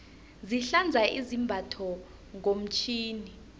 sihlanza izambatho ngomtjhini